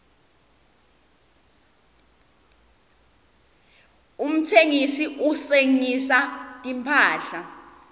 umtsengisi uhsengisa timphahla